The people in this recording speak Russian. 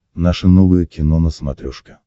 наше новое кино на смотрешке